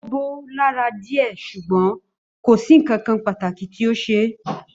Ó bó lára dìé sùgbón kòsí nkankan pàtàkì tí o ṣe